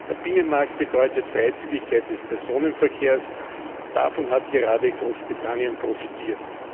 Der Binnenmarkt bedeutet Freizügigkeit des Personenverkehrs, davon hat gerade Großbritannien profitiert.